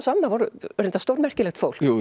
voru reyndar stórmerkilegt fólk